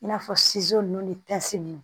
I n'a fɔ ninnu ni ninnu